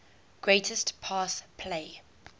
greatest pass play